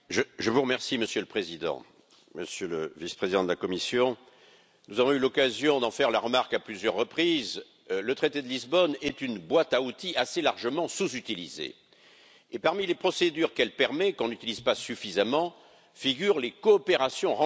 Monsieur le Président, Monsieur le Vice président de la Commission, nous avons eu l'occasion d'en faire la remarque à plusieurs reprises, le traité de Lisbonne est une boîte à outils assez largement sous utilisée et parmi les procédures possibles et qu'on n'utilise pas suffisamment figurent les coopérations renforcées.